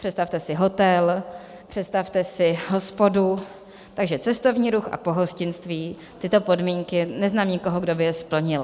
Představte si hotel, představte si hospodu, takže cestovní ruch a pohostinství tyto podmínky, neznám nikoho, kdo by je splnil.